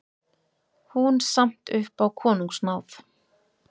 Hún samt upp á konungsnáð.